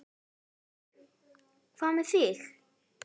Björn: Hvað með þig?